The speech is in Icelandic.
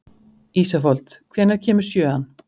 Ísafold, hvenær kemur sjöan?